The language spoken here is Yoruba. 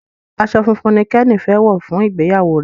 aṣọ fún fún ní Kenny fè wọ fún ìgbéyàwó ìjọ rẹ.